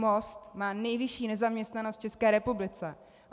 Most má nejvyšší nezaměstnanost v České republice.